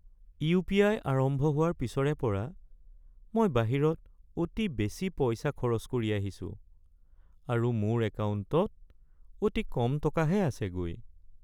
UPI. আৰম্ভ হোৱাৰ পিছৰে পৰা মই বাহিৰত অতি বেছি পইচা খৰচ কৰি আহিছোঁ আৰু মোৰ একাউণ্টত অতি কম টকাহে আছেগৈ।